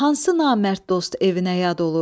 Hansı namərd dost evinə yad olur?